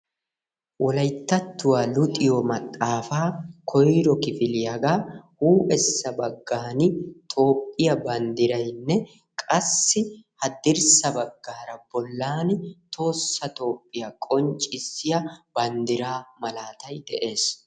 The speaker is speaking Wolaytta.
wolayttattuwaa luxiyoo maxaafaa koyro kifiliyaagaa huuphessa baggaani toophiyaa banddiraynne qassi haddirssa baggara bollaan tohossa toophiyaa qonccisiyaa banddiraa malaatay de'ees.